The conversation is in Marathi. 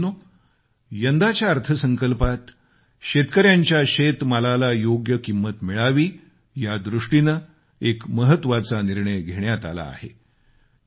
बंधूभगिनीनो यंदाच्या अर्थसंकल्पात शेतकऱ्यांच्या शेतमालाला योग्य किंमत मिळावी या दृष्टीने एक महत्वाचा निर्णय घेण्यात आला आहे